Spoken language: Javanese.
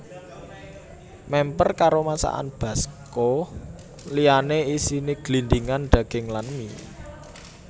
Mèmper karo masakan basko liyané isiné glindhingan daging lan mie